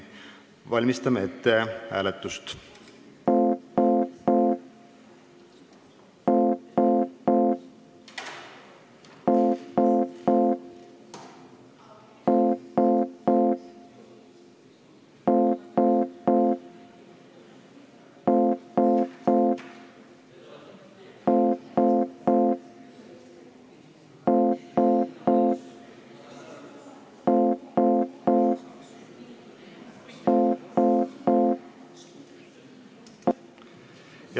Valmistame hääletust ette.